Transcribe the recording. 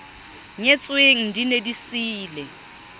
nyetsweng di ne di siile